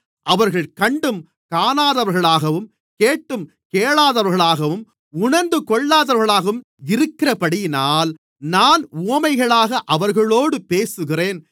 அவர்கள் கண்டும் காணாதவர்களாகவும் கேட்டும் கேளாதவர்களாகவும் உணர்ந்துகொள்ளாதவர்களாகவும் இருக்கிறபடியினால் நான் உவமைகளாக அவர்களோடு பேசுகிறேன்